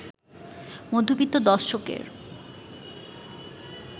মধ্যবিত্ত দর্শকের